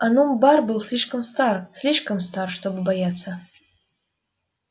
онум бар был стар слишком стар чтобы бояться